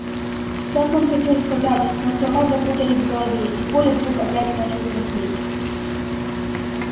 так он хотел сказать но слова запутались в голове и коля вдруг опять начал краснеть